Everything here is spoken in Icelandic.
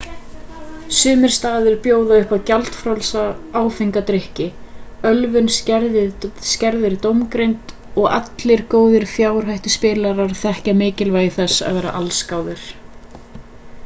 sumir staðir bjóða upp á gjaldfrjálsa áfenga drykki ölvun skerðir dómgreind og allir góðir fjárhættuspilarar þekkja mikilvægi þess að vera allsgáður